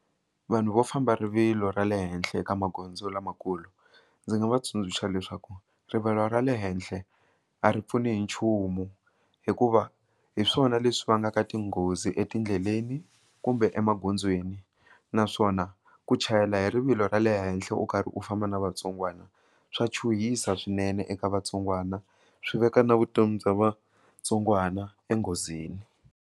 Vanhu vo famba rivilo ra le henhla eka magondzo lamakulu ndzi nga va tsundzuxa leswaku rivilo ra le henhle a ri pfuni hi nchumu hikuva hi swona leswi vangaka tinghozi etindleleni kumbe emagondzweni naswona ku chayela hi rivilo ra le henhla u karhi u famba na vatsongwana swa chuhisa swinene eka vatsongwana swi veka na vutomi bya vatsongwana enghozini.